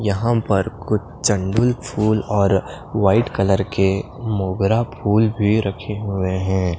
यहां पर कुछ चंदूल फूल और व्हाइट कलर के मोगरा फूल भी रखे हुए हैं।